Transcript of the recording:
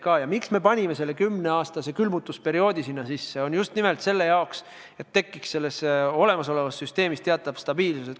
Põhjus, miks me panime eelnõusse sisse 10-aastase külmutusperioodi, on just nimelt see, et olemasolevas süsteemis tekiks teatav stabiilsus.